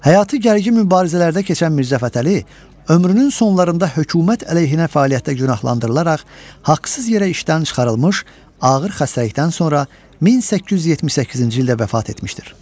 Həyatı gərgin mübarizələrdə keçən Mirzəfətəli ömrünün sonlarında hökumət əleyhinə fəaliyyətdə günahlandırılaraq haqsız yerə işdən çıxarılmış, ağır xəstəlikdən sonra 1878-ci ildə vəfat etmişdir.